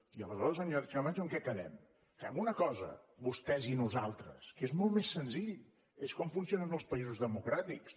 i aleshores senyora sánchez camacho en què quedem fem una cosa vostès i nosaltres que és molt més senzill és com funcionen els països democràtics